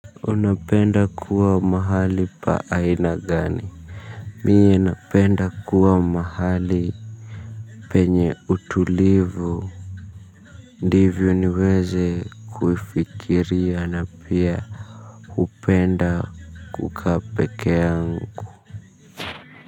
Unapenda kuwa mahali paa aina gani Mie napenda kuwa mahali penye utulivu. Ndivyo niweze kufikiria na pia hupenda kukaa pekeangu.